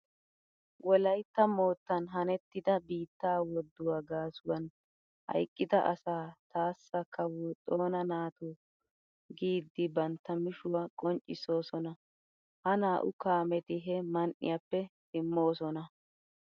Wolaytta moottan hanettida biittaa woduwa gaasuwan hayqqida asaa taassa kawo Xoona naato giiddi bantta mishuwa qonccissoosona. Ha naa'u kaameti he man"iyappe simmoosona.